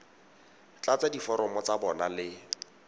tlatsa diforomo tsa bona le